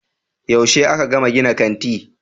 Yaushe aka gama gina kanti